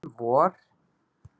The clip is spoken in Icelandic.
Um vor.